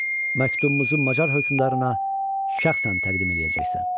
Məktubumuzu macar hökmdarına şəxsən təqdim eləyəcəksən.